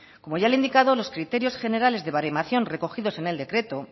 como ya le he indicado los criterios generales de baremación recogidos en el decreto